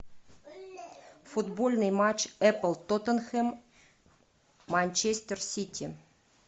футбольный матч апл тоттенхэм манчестер сити